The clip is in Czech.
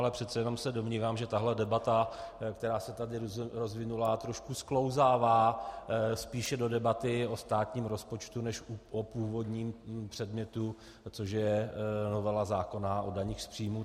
Ale přece jenom se domnívám, že tahle debata, která se tady rozvinula, trošku sklouzává spíše do debaty o státním rozpočtu než o původním předmětu, což je novela zákona o daních z příjmů.